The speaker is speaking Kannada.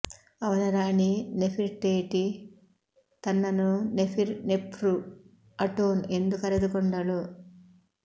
ಅವನ ರಾಣಿ ನೆಫಿರ್ಟೇಟಿ ತನ್ನನ್ನು ನೆಪಿರ್ ನೆಫ್ರು ಅಟೋನ್ ಎಂದು ಕರೆದುಕೊಂಡಳು